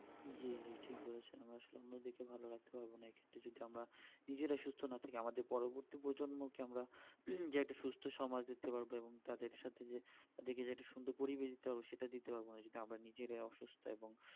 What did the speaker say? নিজেকে ভালো রাখতে পারবো না এক্ষেত্রে যদি আমরা নিজেরাই সুস্থ না থাকি আমাদের পরবর্তী প্রজন্ম কে যে একটি সমাজ দিতে হবে এবং তাদের সাথে যে তাদের কে যে সুন্দর পরিবেশ দিতে হবে সেটা দিতে পারবো না যদি আমরা নিজেরাই অসুস্থ এবং